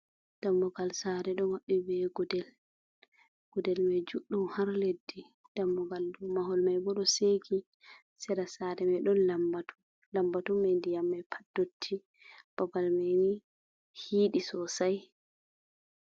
Dammugal sare ɗo maɓɓi be gudel, gudel mai juɗɗum har leddi, dammugal dou mahol mai bo ɗo seki, sera sare mai ɗon lambatu, lambatu mai ndiyam mai pat dotti babal mai ni hiɗi sosai.